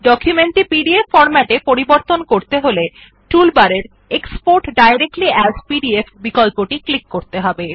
document টি PDF ফর্ম্যাটে পরিবর্তিত করতে চাইলে টুল বারের এক্সপোর্ট ডাইরেক্টলি এএস পিডিএফ বিকল্পটি ক্লিক করতে হবে